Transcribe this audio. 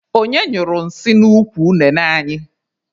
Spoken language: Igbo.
Onye nyụrụ nsị n'ukwu unene anyị?